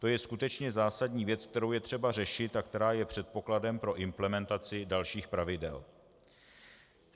To je skutečně zásadní věc, kterou je třeba řešit a která je předpokladem pro implementaci dalších pravidel.